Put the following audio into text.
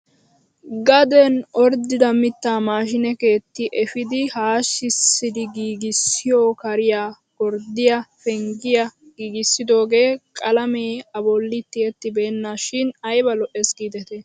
Gaden ot=rddida mittaa maashine keetti epiidi haashshisidi giigissiyoo kariyaa gorddiyoo penggiyaa giigissidogee qalamee a bolli tiyettibena shin ayba lo"ees gidetii!